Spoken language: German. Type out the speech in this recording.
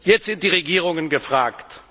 Jetzt sind die Regierungen gefragt.